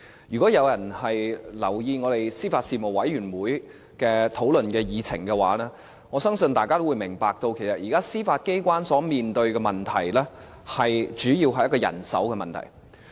如果有人留意我們司法及法律事務委員會的討論議程的話，我相信大家都會明白到，其實現在司法機關面對的問題，主要是人手的問題。